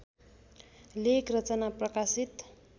लेखरचना प्रकाशित